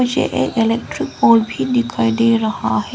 मुझे एक electric pole भी दिखाई दे रहा है।